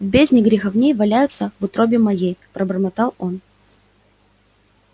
в бездне греховней валяюся во утробе моей бормотал он